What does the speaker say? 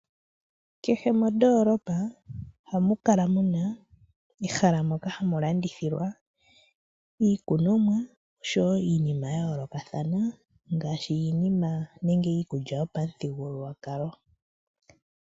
Kehe mondolopa ohamu kala muna ehala moka hamu landithila iikunomwa oshowo iinima ya yoolokathana. Ngaashi iinima nenge iikulya yopamuthigululwa kalo.